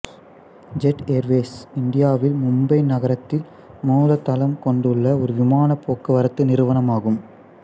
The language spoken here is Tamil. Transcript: ஜெட் ஏர்வேஸ் இந்தியாவில் மும்பை நகரத்தில் மூல தளம் கொண்டுள்ள ஒரு விமானப் போக்குவரத்து நிறுவனமாகும்